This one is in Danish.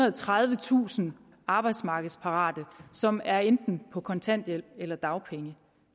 og tredivetusind arbejdsmarkedsparate som er enten på kontanthjælp eller dagpenge